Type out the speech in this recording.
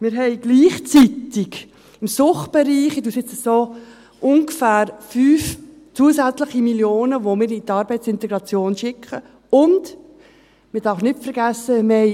Wir haben gleichzeitig im Suchtbereich ungefähr 5 Mio. Franken zusätzlich, weil wir diese in die Arbeitsintegration schicken, und man darf nicht vergessen: